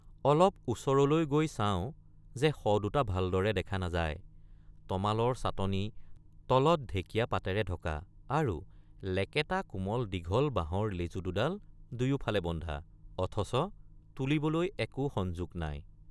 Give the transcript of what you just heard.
অলপ ওচৰলৈ গৈ চাওঁ যে শ দুট৷ ভালদৰে দেখা নাযায় তমালৰ ছাটনি তলত ঢেকীয়া পাতেৰে ঢকা আৰু লেকেটা কোমল দীঘল বাঁহৰ লেজু দুডাল দুয়োফালে বন্ধা অথচ তুলিবলৈ একো সঞ্জুক নাই।